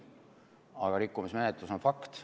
Aga rikkumismenetlus on fakt.